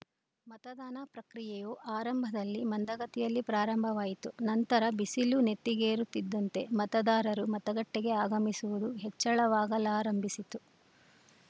ಮತದಾನ ಪ್ರಕ್ರಿಯೆಯು ಆರಂಭದಲ್ಲಿ ಮಂದಗತಿಯಲ್ಲಿ ಪ್ರಾರಂಭವಾಯಿತು ನಂತರ ಬಿಸಿಲು ನೆತ್ತಿಗೇರುತ್ತಿದ್ದಂತೆ ಮತದಾರರು ಮತಗಟ್ಟೆಗೆ ಆಗಮಿಸುವುದು ಹೆಚ್ಚಳವಾಗಲಾರಂಭಿಸಿತು